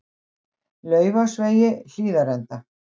Laufásvegi Hlíðarenda